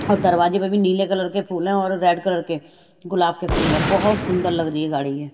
और दरवाजे पे भी नीले कलर के फूल हैं और रेड कलर के गुलाब के फूल हैं बहोत सुंदर लग रही है गाड़ी ये --